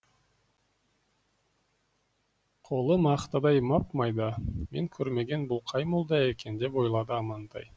қолы мақтадай мап майда мен көрмеген бұл қай молда екен деп ойлады амантай